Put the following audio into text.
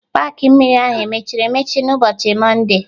Paakị mmiri ahụ emechiri emechi n'ụbọchị mọnde?